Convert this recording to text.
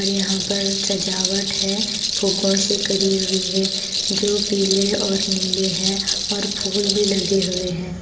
और यहां पर सजावट है फूगों से करी हुई है जो पीले और नीले हैं और फूल भी लगे हुए है ।